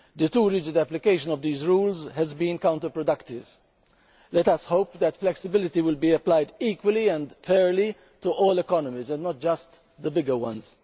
Over-rigid application of these rules has been counterproductive. Let us hope that flexibility will be applied equally and fairly to all economies and not just the bigger ones.